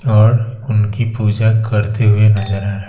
और उनकी पूजा करते हुए नजर आ रह--